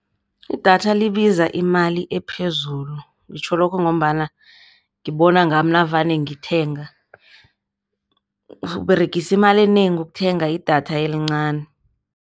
Idatha libiza imali ephezulu, ngitjho lokhu ngombana ngibona ngami navane ngithenga, uberegisa imali enengi ukuthenga idatha elincani.